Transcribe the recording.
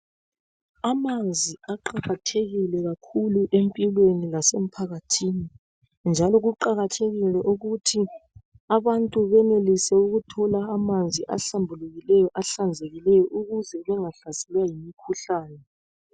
Amanzi aqakathekile kakhulu empilweni lasemphakathini njalo kuqakathekile ukuthi abantu benelise ukuthola amanzi ahlambulukileyo, ahlanzekileyo ukuze bengahlaselwa yimikhuhlane.